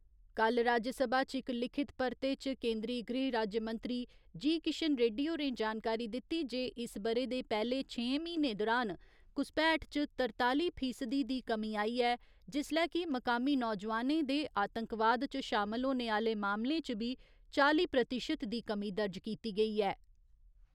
कल्ल राज्यसभा च इक लिखित परते च केंदरी गृह राज्यमंत्री जी . किशन रेड्डी होरें जानकारी दित्ती जे इस ब'रे दे पैह्‌ले छेहें म्हीनें दुरान घुसपैठ च तरताली फीसदी दी कमी आई ऐ जिसलै कि मकामी नौजोआनें दे आतंकवाद च शामल होने आह्‌ले मामलें च बी चाली प्रतिशत दी कमी दर्ज कीती गेई ऐ।